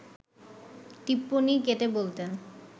টিপ্পনী কেটে বলতেন